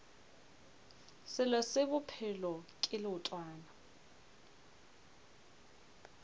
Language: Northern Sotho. selo se bophelo ke leotwana